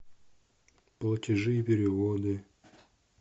платежи и переводы